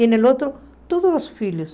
E no outro, todos os filhos.